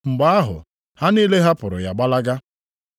Mgbe ahụ, ha niile hapụrụ ya gbalaga.